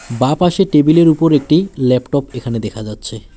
বা পাশে টেবিলের উপর একটি ল্যাপটপ এখানে দেখা যাচ্ছে।